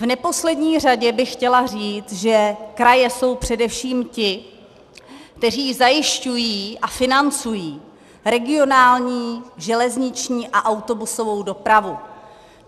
V neposlední řadě bych chtěla říci, že kraje jsou především ti, kteří zajišťují a financují regionální železniční a autobusovou dopravu.